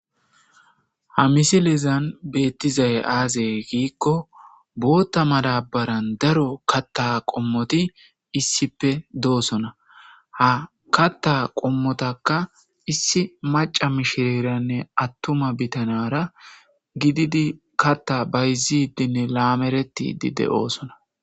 Ha misilezan bettizay aze giko;Botha madabara katha qommoti issippe de'osona. Ha katha qommota issi mac'a mishirayra attuma gida nara gididi katha bayzidinne lameretidi de'osona.